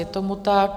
Je tomu tak.